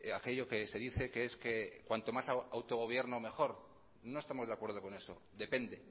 aquello que se dice que es que cuanto más autogobierno mejor no estamos de acuerdo con eso depende